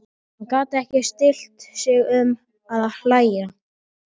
Hann gat ekki stillt sig um að hlæja.